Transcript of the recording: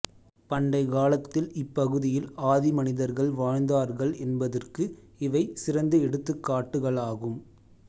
பண்டைக்காலத்தில் இப்பகுதியில் ஆதிமனிதர்கள் வாழ்ந்தார்கள் என்பதற்கு இவை சிறந்த எடுத்துக்காட்டுகளாகும்